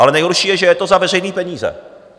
Ale nejhorší je, že je to za veřejné peníze.